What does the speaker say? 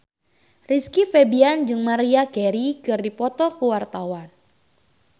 Rizky Febian jeung Maria Carey keur dipoto ku wartawan